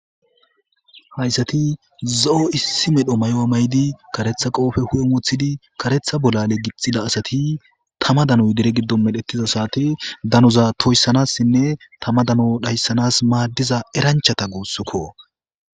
Hayssati zo7o issi medho may7o7a maydi karetha qoofe hu7e wothidi karetha bollale gixxida asati tama danoy dere giddon medhettiza saate danuza toyssanassinne tama dano dhayssanas maaddiza eranchata guussukko.